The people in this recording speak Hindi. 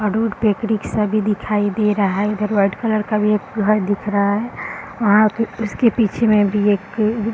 और रोड पे एक रिक्शा भी दिखाई दे रहा है | इधर व्हाइट कलर का भी एक घर दिख रहा है | वहाँ पे उसके पीछे में भी एक --